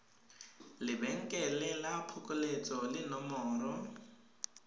lebenkele la phokoletso le nomoro